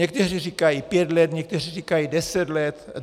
Někteří říkají pět let, někteří říkají deset let.